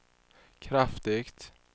kraftigt